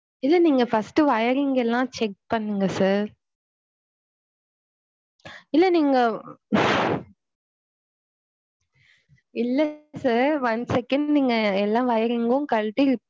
இல்ல நீங்க first wiring லாம் check பண்ணுங்க sir இல்ல நீங்க இல்ல sir one second நீங்க எல்லா wiring யும் கலட்டி.